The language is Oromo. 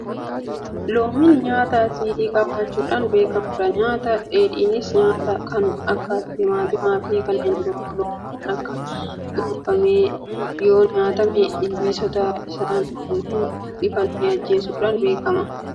Loomiin nyaata asiidii qabaachuudhaan beekamudha. Nyaata dheedhiinsaa nyaatamu kan akka timaatimaafi kanneen biroo Loomiin itti cuunfamee yoonyaatame Ilbiisota ijaan hunmul'anne ajjeesuudhaan beekama. Kana malees Cuunfaa Abukaadoos itti cuunfanii dhuguun amaleeffatameera. Kana malee faayidaan loomii maalidha?